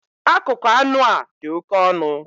Akụkụ anụ a dị oke ọnụ